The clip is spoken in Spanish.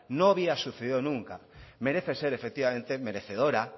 no había sucedido nunca merece ser efectivamente merecedora